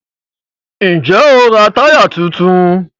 Ǹjẹ́ o ra táyà tuntun?